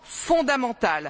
fondamentale.